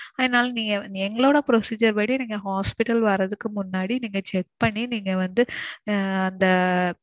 அதனால நீங்க எங்களோட procedure படி நீங்க hospital வர்றதுக்கு முன்னாடி நீங்க check பண்ணி நீங்க வந்து ஆஹ் அந்த.